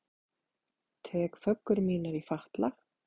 Tek föggur mínar í fatla.